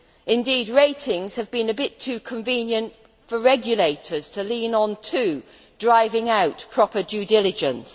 Indeed, ratings have been a bit too convenient' for regulators to lean on too, driving out proper due diligence.